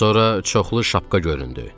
Sonra çoxlu şapka göründü.